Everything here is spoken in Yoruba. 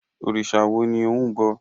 Òrìṣà wo ni ò ń bọ?